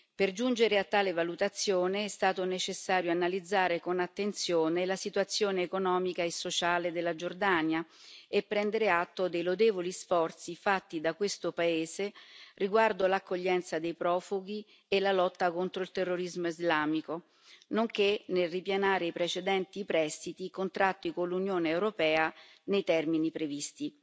Per giungere a tale valutazione, è stato necessario analizzare con attenzione la situazione economica e sociale della Giordania e prendere atto dei lodevoli sforzi fatti da questo paese riguardo all'accoglienza dei profughi e alla lotta contro il terrorismo islamico nonché nel ripianare i precedenti prestiti contratti con l'Unione europea nei termini previsti.